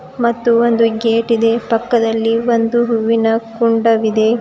ಮತ್ತು ಒಂದು ಗೇಟ್ ಇದೆ ಪಕ್ಕದಲ್ಲಿ ಒಂದು ಹೂವಿನ ಕುಂಡವಿದೆ.